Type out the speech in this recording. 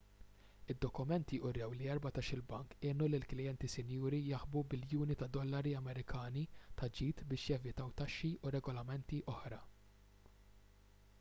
id-dokumenti wrew li erbatax-il bank għenu lill-klijenti sinjuri jaħbu biljuni ta' dollari amerikani ta' ġid biex jevitaw taxxi u regolamenti oħra